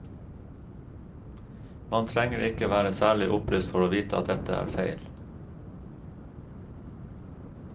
Man trenger ikke være særlig opplyst for å vite at dette er feil.